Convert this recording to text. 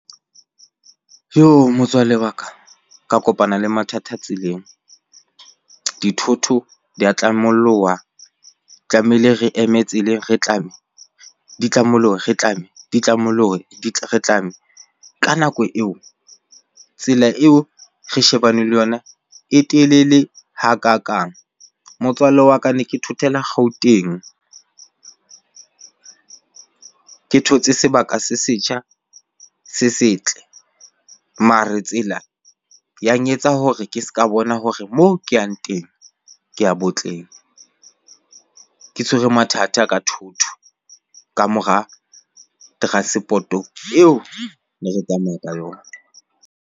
Jo motswalle wa ka, ka kopana le mathata tseleng. Dithoto dia tlamollowa tlamehile re eme tseleng re tlame, di tlamollohe re tlame di tlamollohe re tlame. Ka nako eo tsela eo re shebane le yona e telele hakakang. Motswalle wa ka ne ke thothela Gauteng ke thotse sebaka se setjha se setle. Mare tsela yang etsa hore ke seka bona hore moo ke yang teng kea botleng. Ke tshwere mathata ka thotho kamora transport-o eo ne re tsamaya ka yona.